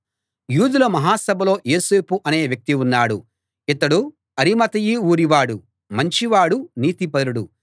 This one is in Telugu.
యూదుల మహాసభలో యోసేపు అనే వ్యక్తి ఉన్నాడు ఇతడు అరిమతయి ఊరివాడు మంచివాడు నీతిపరుడు